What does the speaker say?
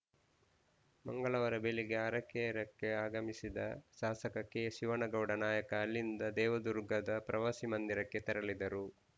ಮಂಗಳವಾರ ಬೆಳಿಗ್ಗೆ ಅರಕೇರಾಕ್ಕೆ ಆಗಮಿಸಿದ ಶಾಸಕ ಕೆಶಿವಣ್ಣಗೌಡ ನಾಯಕ ಅಲ್ಲಿಂದ ದೇವದುರ್ಗದ ಪ್ರವಾಸಿ ಮಂದಿರಕ್ಕೆ ತೆರಳಿದರು